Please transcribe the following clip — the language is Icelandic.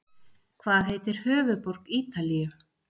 Hvað heitir höfuðborg Ítalíu?